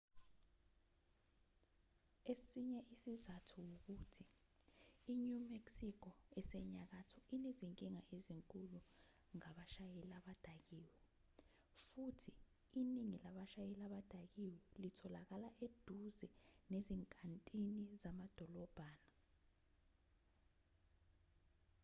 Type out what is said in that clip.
esinye isizathu ukuthi i-new mexico esenyakatho inezinkinga ezinkulu ngabashayeli abadakiwe futhi iningi labashayeli abadakiwe litholakala eduze nezinkantini zamadolobhana